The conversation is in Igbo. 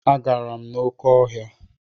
Agara m n'oké ọhịa.